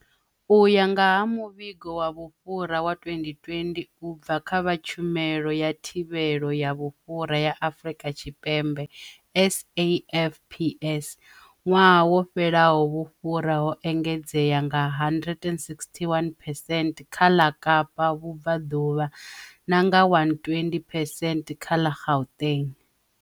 U ya nga ha muvhigo wa vhufhura wa 2020 u bva kha vha Tshumelo ya Thivhelo ya Vhufhura ya Afrika Tshipembe SAFPS, ṅwaha wo fhelaho vhufhura ho engedzea nga 161 percent kha ṅa Kapa Vhubvaṅuvha na nga 120 percent kha ṅa Gauteng.